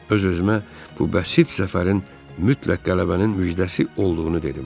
Öz-özümə bu bəsit zəfərin mütləq qələbənin müjdəsi olduğunu dedim.